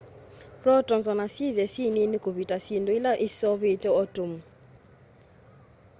protons ona syithwa syi niini kuvita syindu ila iseuvitye atomu